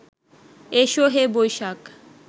এসো হে বৈশাখ